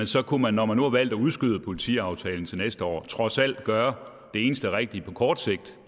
så kunne man når man nu har valgt at udskyde politiaftalen til næste år trods alt gøre det eneste rigtige på kort sigt